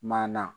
Manana